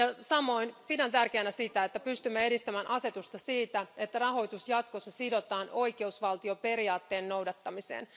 Samoin pidän tärkeänä sitä, että pystymme edistämään asetusta siitä, että jatkossa rahoitus sidotaan oikeusvaltioperiaatteen noudattamiseen.